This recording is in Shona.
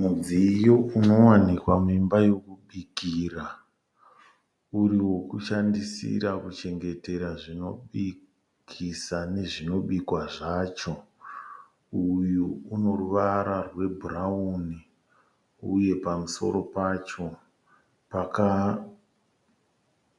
Mudziyo unowanikwa muimba yokubikira. Uriwoshandisira kuchengetera zvinobikisa nezvinobikwa zvacho. Uyu unoruvara rwebhurawuni, uye pamusoro pacho